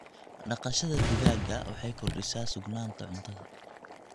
Dhaqashada digaaga waxay kordhisaa sugnaanta cuntada.